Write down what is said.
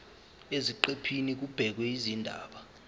eziqephini kubhekwe izindaba